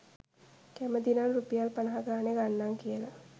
කැමැති නම් රුපියල් පනහා ගණනේ ගන්නම් කියලා